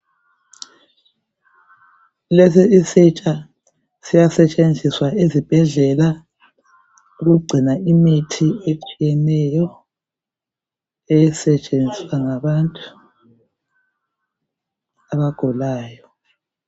Lesi isitsha siyasetshenziswa ezibhedlela ukugcina imithi etshiyeneyo, esetshenziswa ngabantu abagulayo.